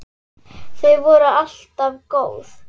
Þau voru alltaf góð.